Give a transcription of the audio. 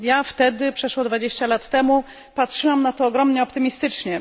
Ja wtedy, przeszło 20 lat temu, patrzyłam na to ogromnie optymistycznie.